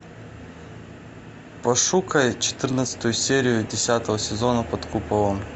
пошукай четырнадцатую серию десятого сезона под куполом